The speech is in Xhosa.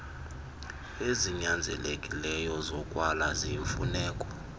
ezinyanzelekileyo zokwala ziyimfuneko